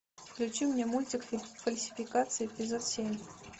включи мне мультик фальсификация эпизод семь